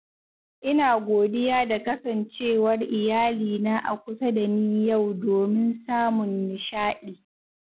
Ina godiya da kasancewar iyalina a kusa da ni Yau domin samun nishaɗi.